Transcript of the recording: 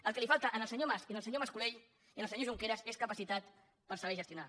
el que els falta al senyor mas i al senyor mas colell i al senyor junqueras és capacitat per saber gestionar